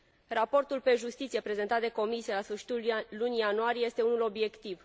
Raportul pe justiție prezentat de Comisie la sfârșitul lunii ianuarie este unul obiectiv.